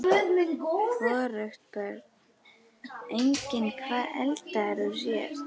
Hvorugt Börn: Engin Hvað eldaðir þú síðast?